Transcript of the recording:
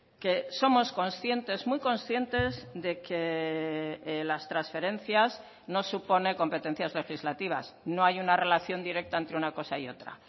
que somos conscientes muy conscientes de que las transferencias no supone competencias legislativas no hay una relación directa entre una cosa y otra